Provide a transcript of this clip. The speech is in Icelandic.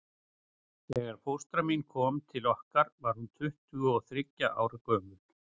Þegar fóstra mín kom til okkar var hún tuttugu og þriggja ára gömul.